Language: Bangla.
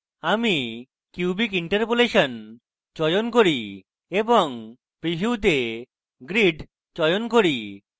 আমি cubic interpolation চয়ন cubic এবং preview তে grid চয়ন cubic